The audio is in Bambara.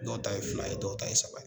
Dɔw ta ye fila ye dɔw ta ye saba ye.